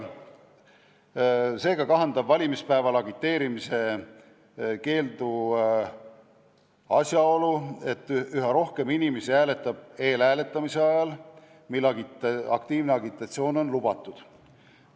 Valimispäeval agiteerimise keelu mõju kahandab asjaolu, et üha rohkem inimesi hääletab eelhääletamise ajal, kui aktiivne agitatsioon on lubatud.